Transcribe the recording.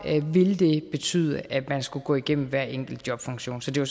vil det betyde at man skulle gå igennem hver enkelt jobfunktion så det var